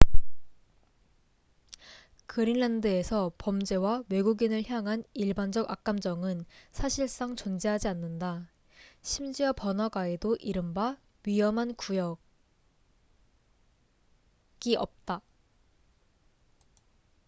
"그린란드에서 범죄와 외국인을 향한 일반적 악감정은 사실상 존재하지 않는다. 심지어 번화가에도 이른바 "위험한 구역""이 없다.